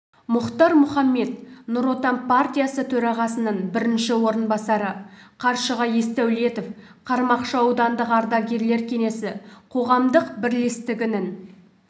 мұхтар мұхаммед нұр отан партиясы төрағасының бірінші орынбасары қаршыға есдәулетов қармақшы аудандық ардагерлер кеңесі қоғамдық бірлестігінің